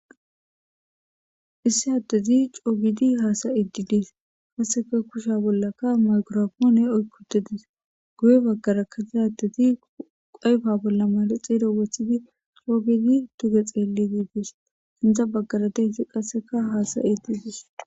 issi addezi coogidi haasa iddidees hasseka kusha bollaka maykorafoone oykkudedis guye baggarakka se addezi qayfa bolla mare xeero wechidi coogidi tuge xeeli giigees indza baggara deyti qasseka haasa iddidis